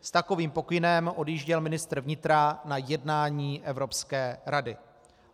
S takovým pokynem odjížděl ministr vnitra na jednání Evropské rady.